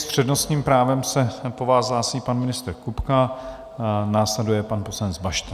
S přednostním právem se po vás hlásí pan ministr Kupka, následuje pan poslanec Bašta.